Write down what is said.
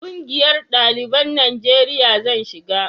ƙungiyar daliban najeriya zan shiga